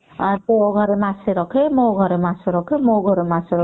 ତୋ ଘରେ ମାସେ ରଖେ ମୋ ଘରେ ମାସେ ରଖେ ମୋ ଘରେ ମାସେ ରଖେ